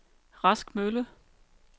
Rask Mølle